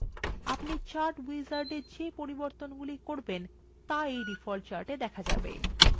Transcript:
আপনার দ্বারা chart wizard এর মধ্যে করা পরিবর্তনগুলি ডিফল্ট chart আপডেট হয়